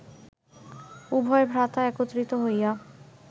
উভয় ভ্রাতা একত্রিত হইয়া